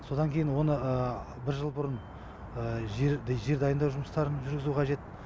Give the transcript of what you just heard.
содан кейін оны бір жыл бұрын жер жер дайындау жұмыстарын жүргізу қажет